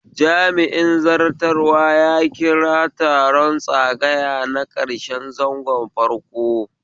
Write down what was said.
Jami'in zartarwa ya kira taron tsagaya na karshen zangon farko